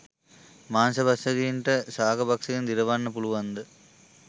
මාංශ භක්‍ෂකයින් ට ශාක භක්‍ෂකයින් දිරවන්න පුළුවන්ද